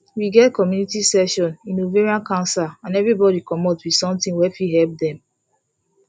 we get community session in ovarian cancer and everybody commot with something wey fit help dem